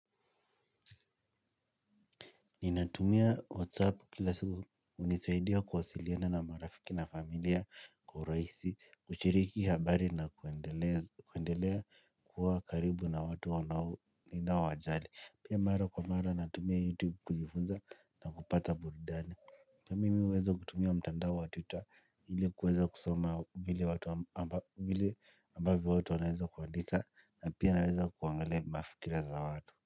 Ninatumia WhatsApp kila siku unisaidia kuwasiliana na marafiki na familia kwa uraisi, kuchiriki habari na kuendelea kuwa karibu na watu wanao ninao wajali. Pia mara kwa mara natumia YouTube kujifunza na kupata buridani. Pia mimi huweza kutumia mtandao wa twitter ili kuweza kusoma vile ambavyo watu wanaweza kuandika na pia naweza kuangalia mafikira za watu.